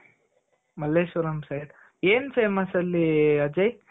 Malleshwaram side ಏನ್ famous ಅಲ್ಲಿ ಅಜಯ್